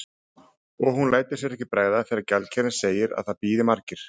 Og hún lætur sér ekki bregða þegar gjaldkerinn segir að það bíði margir.